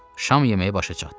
Şam yeməyi başa çatdı.